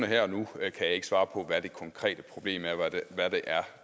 her og nu kan jeg ikke svare på hvad det konkrete problem er hvad det er